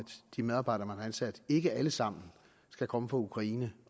de medarbejdere ansat ikke alle sammen skal komme fra ukraine